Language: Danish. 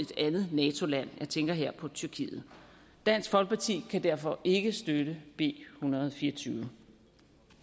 et andet nato land jeg tænker her på tyrkiet dansk folkeparti kan derfor ikke støtte b en hundrede og fire og tyve